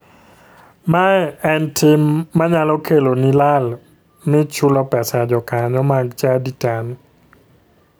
Mae en tim manyalo keloni lal mi chulo pesa jokanyo mag chadi tami.